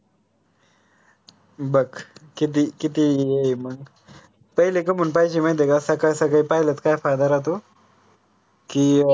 बघ किती किती मंग तरी लेक मन पाहिजे माहिती काय का? सकाळ सकाळी पाहिलत काय फायदा राहतो. की अह